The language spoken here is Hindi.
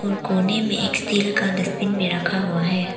कोने में एक स्टील का डस्टबिन भी रखा हुआ है।